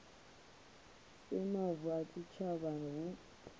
si mavu a tshitshavha hu